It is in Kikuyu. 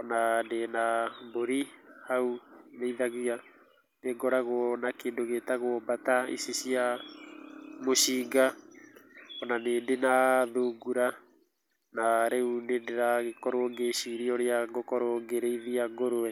ona ndĩ na mbũri hau ndĩithagia, nĩ ngoragwo na kĩndũ gĩtagwo mbata ici cia mũcinga, ona nĩndĩ na thungura na rĩu nĩndĩragĩkorwo ngĩciria ũrĩa ngũkorwo ngĩrĩithia ngũrwe.